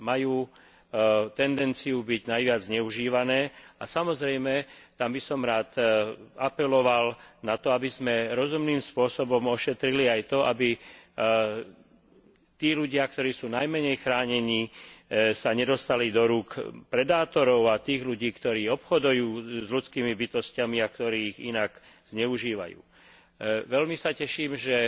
Majú tendenciu byť najviac zneužívané a, samozrejme, tam by som rád apeloval na to, aby sme rozumným spôsobom ošetrili aj to, aby tí ľudia, ktorí sú najmenej chránení, sa nedostali do rúk predátorov a tých ľudí, ktorí obchodujú s ľudskými bytosťami a ktorí ich inak zneužívajú. Veľmi sa teším, že